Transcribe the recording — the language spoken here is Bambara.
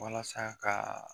Walasa ka